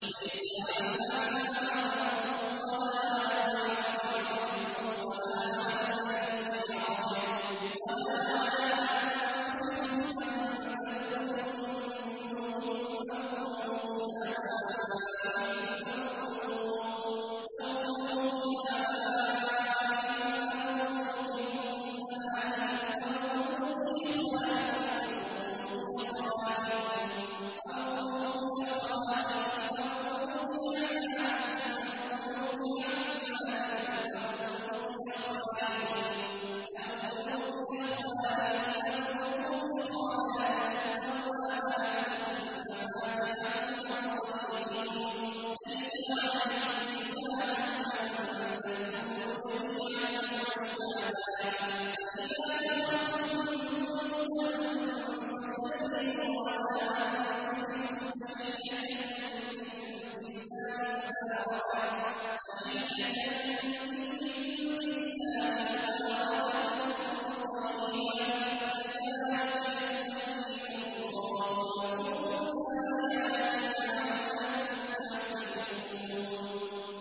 لَّيْسَ عَلَى الْأَعْمَىٰ حَرَجٌ وَلَا عَلَى الْأَعْرَجِ حَرَجٌ وَلَا عَلَى الْمَرِيضِ حَرَجٌ وَلَا عَلَىٰ أَنفُسِكُمْ أَن تَأْكُلُوا مِن بُيُوتِكُمْ أَوْ بُيُوتِ آبَائِكُمْ أَوْ بُيُوتِ أُمَّهَاتِكُمْ أَوْ بُيُوتِ إِخْوَانِكُمْ أَوْ بُيُوتِ أَخَوَاتِكُمْ أَوْ بُيُوتِ أَعْمَامِكُمْ أَوْ بُيُوتِ عَمَّاتِكُمْ أَوْ بُيُوتِ أَخْوَالِكُمْ أَوْ بُيُوتِ خَالَاتِكُمْ أَوْ مَا مَلَكْتُم مَّفَاتِحَهُ أَوْ صَدِيقِكُمْ ۚ لَيْسَ عَلَيْكُمْ جُنَاحٌ أَن تَأْكُلُوا جَمِيعًا أَوْ أَشْتَاتًا ۚ فَإِذَا دَخَلْتُم بُيُوتًا فَسَلِّمُوا عَلَىٰ أَنفُسِكُمْ تَحِيَّةً مِّنْ عِندِ اللَّهِ مُبَارَكَةً طَيِّبَةً ۚ كَذَٰلِكَ يُبَيِّنُ اللَّهُ لَكُمُ الْآيَاتِ لَعَلَّكُمْ تَعْقِلُونَ